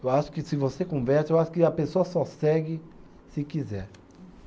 Eu acho que se você conversa, eu acho que a pessoa só segue se quiser.